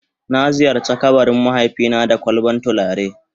Na ziyarce kabarin mahaifi na da kwalban tulare.